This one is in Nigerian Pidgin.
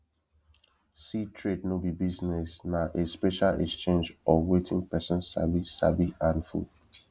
seed trade no be business na a special exchange of wetin person sabi sabi and food